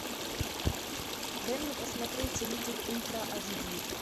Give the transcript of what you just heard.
дай мне посмотреть риддик ультра ач ди